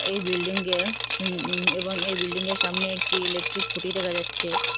এই বিল্ডিংয়ের হুম এবং এই বিল্ডিংয়ের সামনে একটি ইলেকট্রিক খুঁটি দেখা যাচ্ছে।